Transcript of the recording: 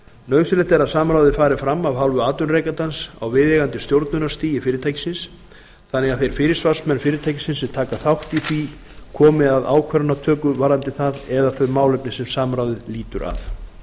nauðsynlegt er að samráðið fari fram af hálfu atvinnurekandans á viðeigandi stjórnunarstigi fyrirtækisins þannig að þeir fyrirsvarsmenn fyrirtækisins sem taka þátt í því komi að ákvarðanatöku varðandi það eða þau málefni sem samráðið lýtur að